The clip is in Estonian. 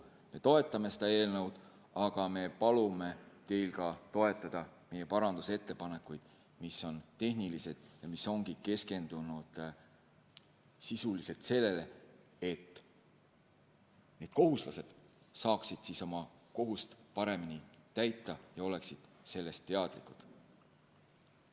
Me toetame seda eelnõu, aga me palume teil toetada meie parandusettepanekuid, mis on tehnilised ja keskendunud sisuliselt sellele, et kohustuslased saaksid oma kohust paremini täita ja oleksid sellest teadlikud.